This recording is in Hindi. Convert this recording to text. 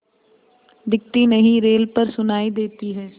दिखती नहीं रेल पर सुनाई देती है